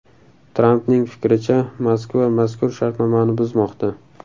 Trampning fikricha, Moskva mazkur shartnomani buzmoqda.